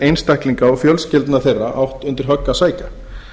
einstaklinga og fjölskyldna þeirra átt undir högg að sækja